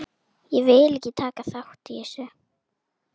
En jafngóð fyrir því!